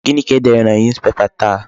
Gịnị ka e dere na Newspapers taa?